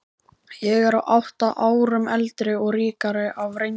Ég er átta árum eldri og ríkari af reynslu.